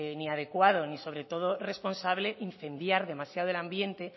ni adecuado ni sobre todo responsable incendiar demasiado el ambiente